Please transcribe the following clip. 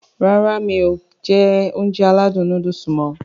Rárá mi kò jẹ Ounjẹ aládùn nóódùsì mọ̀